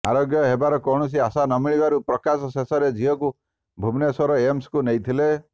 ଆରୋଗ୍ୟ ହେବାର କୌଣସି ଆଶା ନ ମିଳିବାରୁ ପ୍ରକାଶ ଶେଷରେ ଝିଅକୁ ଭୁବନେଶ୍ୱର ଏମ୍ସଙ୍କୁ ନେଇଥିଲେ